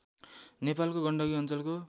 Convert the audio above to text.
नेपालको गण्डकी अञ्चलको